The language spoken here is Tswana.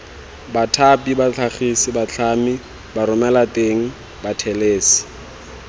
bathapi batlhagisi batlhami baromelateng bathelesi